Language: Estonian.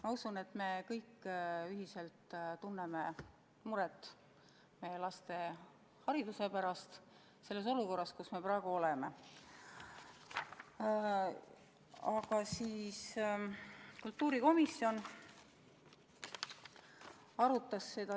Ma usun, et me kõik ühiselt tunneme muret meie laste hariduse pärast selles olukorras, kus me praegu oleme.